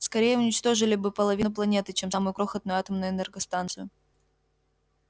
скорее уничтожили бы половину планеты чем самую крохотную атомную энергостанцию